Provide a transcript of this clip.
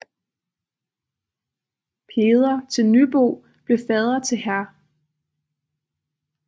Peder til Nybo blev fader til hr